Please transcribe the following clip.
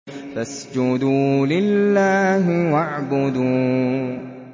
فَاسْجُدُوا لِلَّهِ وَاعْبُدُوا ۩